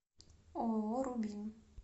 ооо рубин